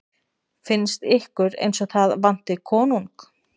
Finnst ykkur eins og það vanti konung?